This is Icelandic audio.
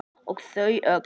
Og þau öll.